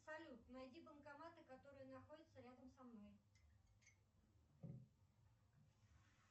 салют найди банкоматы которые находятся рядом со мной